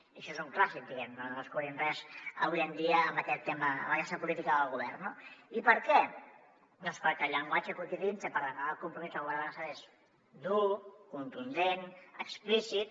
i això és un clàssic diguem ne no descobrim res avui dia amb aquesta política del govern no i per què doncs perquè el llenguatge que utilitza per demanar el compromís del govern de l’estat és dur contundent explícit